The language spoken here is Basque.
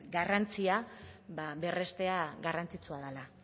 garrantzia berrestea garrantzitsua dela